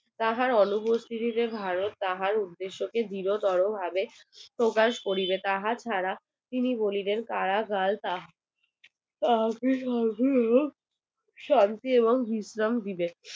তাহার অনুপস্থিতি তে ভারত তাহার উদ্দেশ কে আরো দৃঢ় তোরো ভাবে প্রকাশ করিবে তাহার ধারা তিনি বলিবেন করাগার তাকে শান্তি এবং বিশ্রাম দিবে